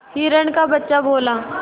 हिरण का बच्चा बोला